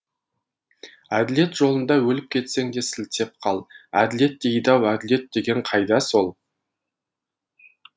әділет жолында өліп кетсең де сілтеп қал әділет дейді ау әділет деген қайда сол